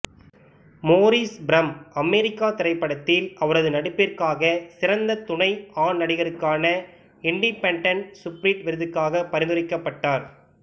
Morris from America திரைப்படத்தில் அவரது நடிப்பிற்காக சிறந்த துணை ஆண் நடிகருக்கான இண்டிப்பெண்டன்ட் சுபிரிட் விருதுக்கு பரிந்துரைக்கப்பட்டார்